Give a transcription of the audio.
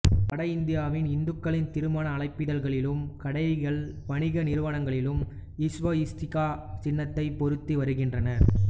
வட இந்தியாவின் இந்துக்களின் திருமண அழைப்பிதழ்களிலும் கடைகள் வணிக நிறுவனங்களிலும் ஸ்வஸ்திகா சின்னத்தைப் பொறித்து வருகின்றனர்